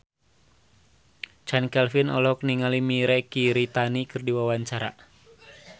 Chand Kelvin olohok ningali Mirei Kiritani keur diwawancara